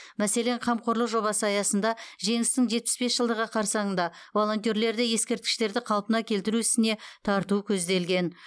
мәселен қамқорлық жобасы аясында жеңістің жетпіс бес жылдығы қарсаңында волонтерлерді ескерткіштерді қалпына келтіру ісіне тарту көзделген